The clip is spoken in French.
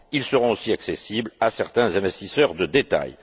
Ils seront aussi accessibles à certains investisseurs de détail.